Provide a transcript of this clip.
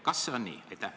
Kas see on nii?